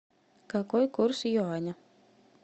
какой курс юаня